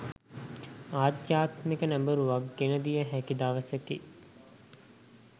ආධ්‍යාත්මික නැඹුරුවක් ගෙන දිය හැකි දවසකි.